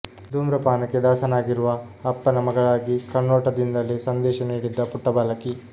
ಧೂಮ್ರಪಾನಕ್ಕೆ ದಾಸನಾಗಿರುವ ಅಪ್ಪನ ಮಗಳಾಗಿ ಕಣ್ಣೋಟದಿಂದಲೇ ಸಂದೇಶ ನೀಡಿದ್ದ ಪುಟ್ಟ ಬಾಲಕಿ